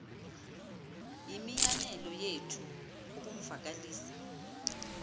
yimianelo yethu ukumvakalisa